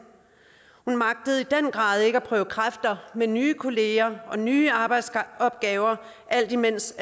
hun magtede i den grad ikke at prøve kræfter med nye kolleger og nye arbejdsopgaver alt imens